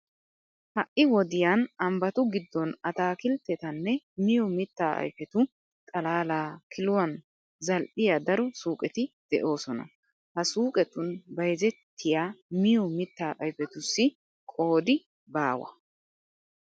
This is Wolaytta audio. Ha wodiyan ambbatu giddon ataakilttetanne miyo mittaa ayfetu xalaalaa kiluwan zal'iyaa daro suuqeti de"oosona. Ha suuqetun bayzettiya miyo mittaa ayfetussi qoodi baawa.